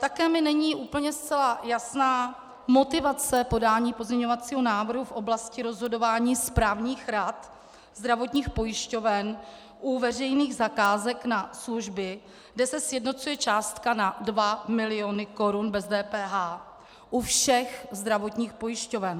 Také mi není úplně zcela jasná motivace podání pozměňovacího návrhu v oblasti rozhodování správních rad zdravotních pojišťoven u veřejných zakázek na služby, kde se sjednocuje částka na 2 miliony korun bez DPH u všech zdravotních pojišťoven.